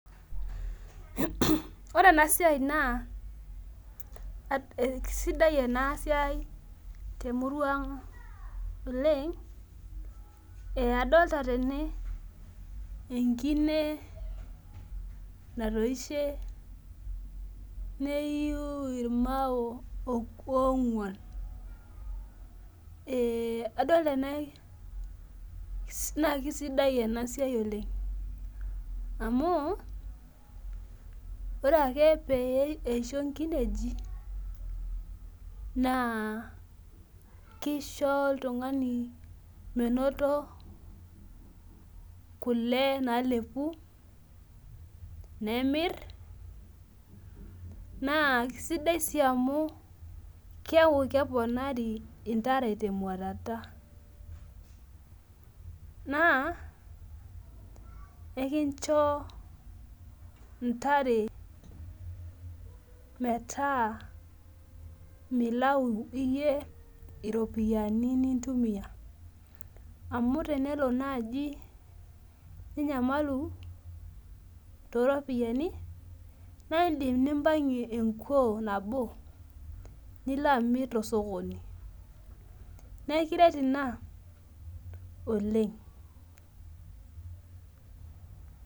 Ore enasia na esidai enasia temurua ang oleng adolta tene enkine natoishe neiu irmao onguan adolita na kesidai enasia oleng amu ore ake peisho nkinejik na kisho oltungani menoto kule nalepu nemir na kisidai amu keaku keponari ntare temwatata na enkincho ntare metaa milau iyie iropiyiani nintumiaamu tenelo nai ninyamalu toropiyani na indim nimpangie enkuo nabo milo amir tosokoni na ekiret ina oleng.